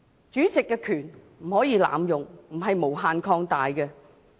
主席的權力不可以濫用，不是無限擴大。